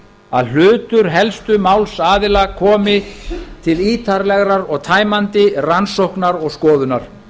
að hlutur helstu málsaðila komi til ítarlegrar og tæmandi rannsóknar og skoðunar